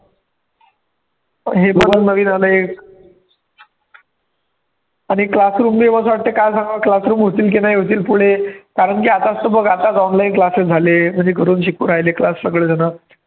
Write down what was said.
हे पण नवीन आले आहे आणि classroom काय सांगावं classroom होतील की नाही होतील पुढे कारण की आताच तर बघ आताच online classes झालेत म्हणजे घरून शिकू राहिले class सगळे जण